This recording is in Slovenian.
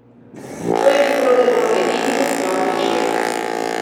To je bil pravzaprav edini odklon večera.